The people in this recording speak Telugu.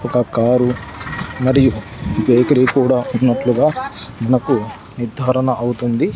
ఒక కారు మరియు బేకరీ కూడా ఉన్నట్టుగా మనకు నిద్ధారణ అవుతుంది.